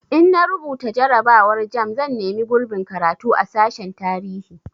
In na rubuta jarrabawar jamb zan nemi gurbin karatu a sashen tarihi